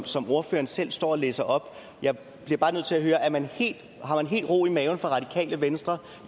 som ordføreren selv stod og læste op jeg bliver bare nødt til at høre har man helt ro i maven i radikale venstre